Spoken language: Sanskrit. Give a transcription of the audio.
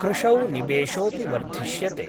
कृषौ निवेशोऽपि वर्धिष्यते।